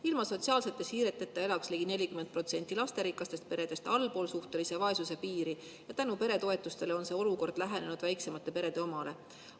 Ilma sotsiaalsete siireteta elaks ligi 40% lasterikastest peredest allpool suhtelise vaesuse piiri ja tänu peretoetustele on see olukord lähenenud väiksemate perede omale.